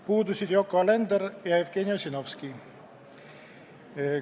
Puudusid Yoko Alender ja Jevgeni Ossinovski.